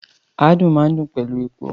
Àádùn máa n dùn pẹlú epo.